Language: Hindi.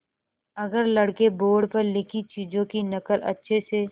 अगर लड़के बोर्ड पर लिखी चीज़ों की नकल अच्छे से